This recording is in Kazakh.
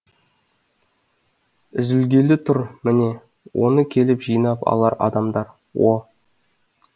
үзілгелі тұр міне оны келіп жинап алар адамдар о